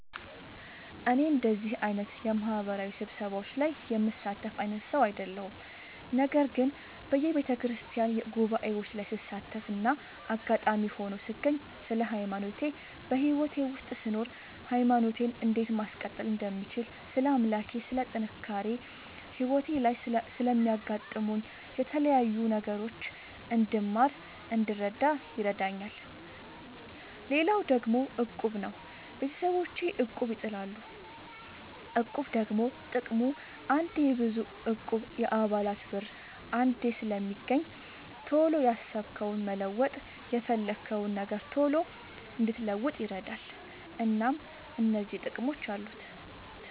እኔ እንደዚህ አይነት የማህበራዊ ስብሰባዎች ላይ የምሳተፍ አይነት ሰው አይደለሁም። ነገር ግን በየቤተክርስቲያን ጉባኤዎች ላይ ስሳተፍና አጋጣሚ ሆኖ ስገኝ ስለ ሃይማኖቴ በህይወቴ ውስጥ ስኖር ሃይማኖቴን እንዴት ማስቀጠል እንደምችል ስለ አምላኬ ስለ ጥንካሬ ህይወቴ ላይ ስለሚያጋጥሙኝ የተለያዩ ነገሮች እንድማር እንድረዳ ይረዳኛል። ሌላው ደግሞ እቁብ ነው። ቤተሰቦቼ እቁብ ይጥላሉ። እቁብ ደግሞ ጥቅሙ አንዴ የብዙ እቁብ የአባላት ብር አንዴ ስለሚገኝ ቶሎ ያሰብከውን መለወጥ የፈለግከውን ነገር ቶሎ እንድትለውጥ ይረዳል። እናም እነዚህ ጥቅሞች አሉት።